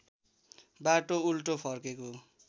बाटो उल्टो फर्केको